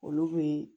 Olu bɛ